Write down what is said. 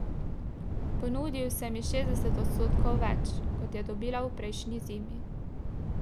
Ponudil sem ji šestdeset odstotkov več, kot je dobila v prejšnji zimi.